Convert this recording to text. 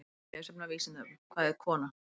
Frekara lesefni á Vísindavefnum: Hvað er kona?